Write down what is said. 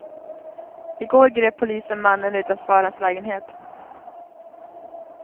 I går grep polisen mannen utanför hans lägenhet.